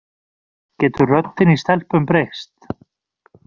Getur röddin í stelpum breyst?